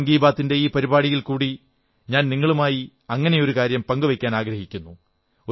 ഇന്ന് മൻ കീ ബാത്തിന്റെ ഈ പരിപാടിയിൽക്കൂടി ഞാൻ നിങ്ങളുമായി അങ്ങനെയൊരു കാര്യം പങ്കുവയ്ക്കാനാഗ്രഹിക്കുന്നു